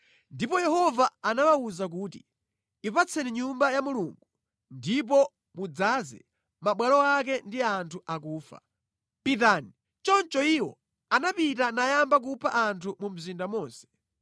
Ndipo Yehova anawawuza kuti, “Ipitsani Nyumba ya Mulungu ndipo mudzaze mabwalo ake ndi anthu akufa. Pitani.” Choncho iwo anapita nayamba kupha anthu mu mzinda monse.